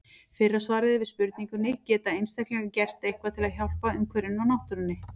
Fyrra svarið er við spurningunni Geta einstaklingar gert eitthvað til að hjálpa umhverfinu og náttúrunni?